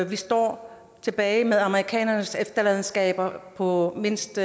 vi står tilbage med amerikanernes efterladenskaber på mindst